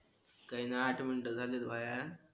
काही नाही आठ मिनिटं झालेत भाया